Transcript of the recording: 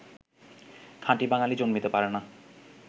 খাঁটি বাঙ্গালী জন্মিতে পারে না